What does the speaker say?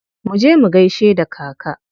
Muje mu gaishe da kaka.